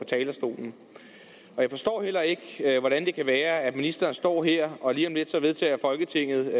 talerstolen jeg forstår heller ikke hvordan det kan være at ministeren står her og lige om lidt vedtager folketinget